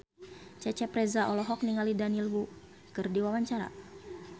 Cecep Reza olohok ningali Daniel Wu keur diwawancara